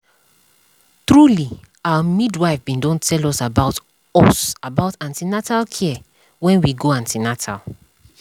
trulyour midwife bin don tell us about us about an ten al care when we go an ten atal